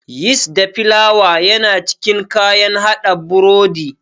Yist da filawa yana cikin kayan haɗa burodi.